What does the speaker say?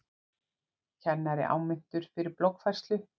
Kennari áminntur fyrir bloggfærslu